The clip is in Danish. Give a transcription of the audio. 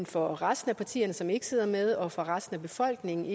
for resten af partierne som ikke sidder med og for resten af befolkningen